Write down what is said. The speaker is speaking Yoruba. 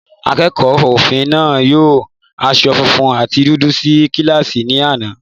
Akẹ́kọ̀ọ́ òfin náà wọ aṣọ funfun àti dúdú sí kíláàsì ní àná.